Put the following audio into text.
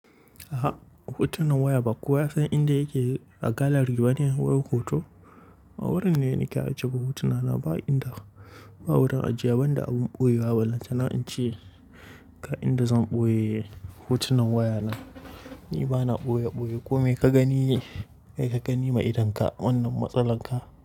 A'a, hotunan waya ba kowa ya san inda yake a gallery bane wurin hoto. A wurin ne nake ajiye hotuna na ba inda ba wurin ajiye ban da abin ɓoye wa Lallai zan ce ka inda zan ɓoye hotunan waya na. Ni bana ɓoye-ɓoye kome ka gani, ka gani ma idonka wannan matsalan ka.